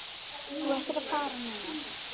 Þú ættir að fara núna.